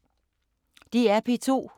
DR P2